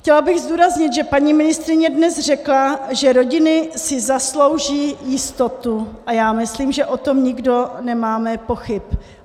Chtěla bych zdůraznit, že paní ministryně dnes řekla, že rodiny si zaslouží jistotu, a já myslím, že o tom nikdo nemáme pochyb.